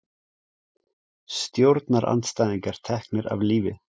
Stjórnarandstæðingar teknir af lífi